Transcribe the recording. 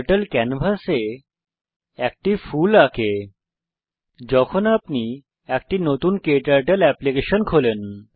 turtle ক্যানভাসে একটি ফুল আঁকে যখন আপনি একটি নতুন ক্টার্টল এপ্লিকেশন খোলেন